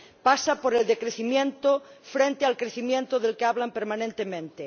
pasa por el decrecimiento frente al crecimiento del que hablan permanentemente.